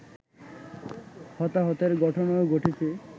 হতাহতের ঘটনাও ঘটেছে